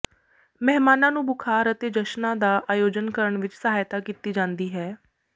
ਮਹਿਮਾਨਾਂ ਨੂੰ ਬੁਖ਼ਾਰ ਅਤੇ ਜਸ਼ਨਾਂ ਦਾ ਆਯੋਜਨ ਕਰਨ ਵਿੱਚ ਸਹਾਇਤਾ ਕੀਤੀ ਜਾਂਦੀ ਹੈ